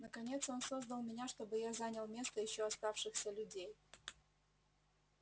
наконец он создал меня чтобы я занял место ещё оставшихся людей